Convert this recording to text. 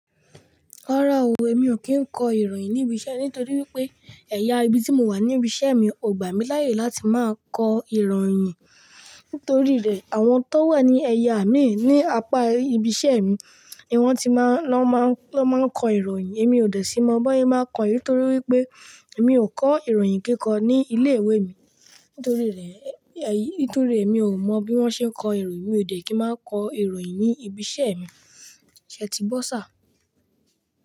Rárá o, èmi o kí ń kọ ìròyìn ní ibi iṣẹ́ nítorí wípé ẹ̀yà ibi tí mo wà ní ibi iṣẹ́ mi ò gbà mí láàyè láti máa kọ ìròyìn. Nítorí rẹ̀, àwọn tó wà ní ẹ̀yà míì ní apá ibi iṣẹ́ mi ni wọ́n ti máa ń lọ máa ń kọ ìròyìn èmi ò dẹ̀ sí mọ bóyá máa kọ nítorí wípé èmi ò kọ ìròyìn kíkọ ní ilé ìwé mi. Nítorí rẹ̀, nítorí èmi ò mọ bí wọ́n ṣe ń kọ ìròyìn, mi ò dẹ̀ kí máa kọ ìròyìn ní ibi iṣẹ́ mi. Ṣé ti gbó ṣir?